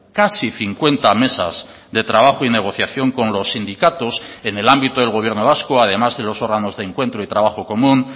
casi cincuenta mesas de trabajo y negociación con los sindicatos en el ámbito del gobierno vasco además de los órganos de encuentro y trabajo común